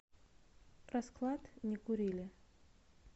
расклад не курили